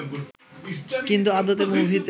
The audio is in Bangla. কিন্তু আদতে মুভিতে